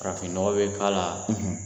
Farafin nɔgɔ bɛ k'a la